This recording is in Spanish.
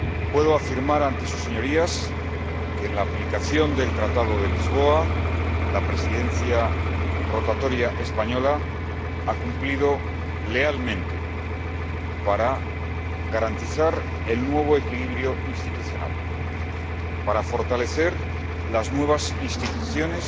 Puedo afirmar ante sus Señorías que, en la aplicación del Tratado de Lisboa, la Presidencia rotatoria española ha cumplido lealmente para garantizar el nuevo equilibrio institucional, para fortalecer las nuevas instituciones